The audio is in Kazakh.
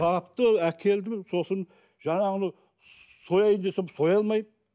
тапты әкелді сосын жаңағыны сояйын десем соя алмаймын